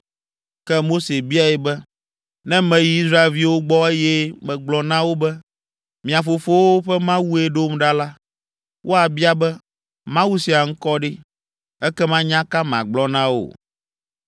Ke Mose biae be, “Ne meyi Israelviwo gbɔ, eye megblɔ na wo be, ‘Mia fofowo ƒe Mawue ɖom ɖa’ la, woabia be, ‘Mawu sia ŋkɔ ɖe?’ Ekema nya ka magblɔ na wo?”